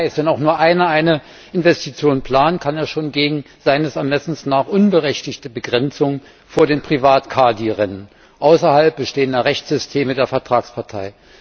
Das heißt, wenn auch nur einer eine Investition plant, kann er schon gegen nach seinem Ermessen unberechtigte Begrenzungen vor den Privatkadi rennen außerhalb bestehender Rechtssysteme der Vertragspartei.